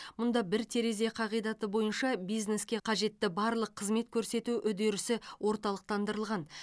мұнда бір терезе қағидаты бойынша бизнеске қажетті барлық қызмет көрсету үдерісі орталықтандырылған